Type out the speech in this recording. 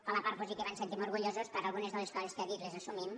per la part positiva ens en sentim orgullosos algunes de les coses que ha dit les assumim